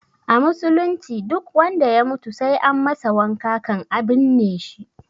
A musulunci duk wanda ya mutu sai an masa wanka kan a binne shi